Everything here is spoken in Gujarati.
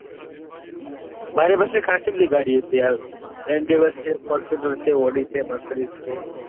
મારી પાસે ખાસી બધી ગાડીઓ છે endeavor છે fortuner છે audi છે mercedes છે.